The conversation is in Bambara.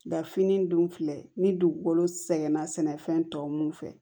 Da fini dun filɛ ni dugukolo sɛgɛn na sɛnɛfɛn tɔ mun fɛ